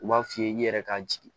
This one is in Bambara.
U b'a f'i ye i yɛrɛ ka jigin